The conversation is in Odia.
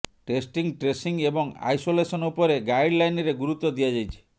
ଟେଷ୍ଟିଂ ଟ୍ରେସିଂ ଏବଂ ଆଇସୋଲେସନ ଉପରେ ଗାଇଡଲାଇନରେ ଗୁରୁତ୍ୱ ଦିଆଯାଇଛି